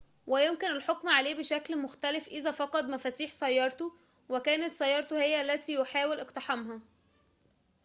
ويمكن الحكم عليه بشكل مختلف إذا فقد مفاتيح سيارته وكانت سيارته هي التي يحاول اقتحامها